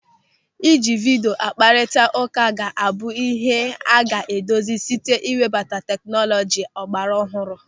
Ịji vidio akparita ụka ga-abụ ịhe a ga-edozi site ịwebata tekinọlọji ọgbaraọhụrụ.